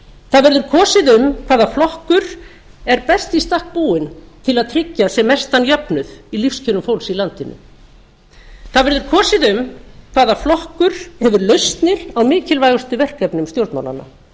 það verður kosið um hvaða flokkur er best í stakk búinn til að tryggja sem mestan jöfnuð í lífskjörum fólks í landinu það verður kosið um hvaða flokkur hefur lausnir á mikilvægustu verkefnum stjórnmálanna